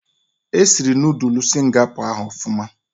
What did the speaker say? Esiri Noodul Singapọ ahụ ọfụma